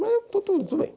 Mas tudo tudo bem.